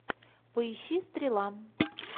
поищи стрела